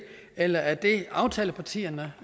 eller er det aftalepartierne